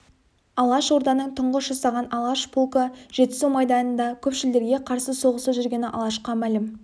алаш орданың тұңғыш жасаған алаш полкі жетісу майданында көпшілдерге қарсы соғыста жүргені алашқа мәлім